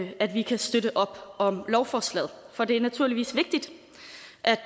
at vi kan støtte op om lovforslaget for det er naturligvis vigtigt